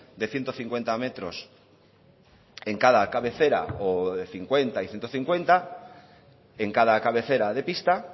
de ciento cincuenta metros en cada cabecera o de cincuenta y ciento cincuenta en cada cabecera de pista